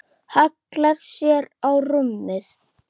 Hallar sér á rúmið.